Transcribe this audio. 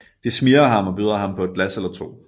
De smigrer ham og byder ham på et glas eller to